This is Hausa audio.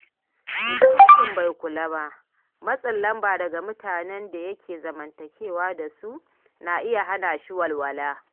Idan mutum bai kula ba, matsin lamba daga mutanen da yake zamantakewa da su na iya hana shi walwala.